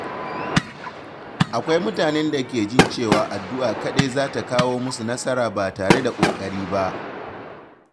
Akwai mutanen da ke jin cewa addu’a kaɗai zata kawo musu nasara ba tare da ƙoƙari ba.